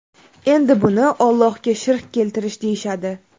Endi buni Ollohga shirk keltirish deyishadi.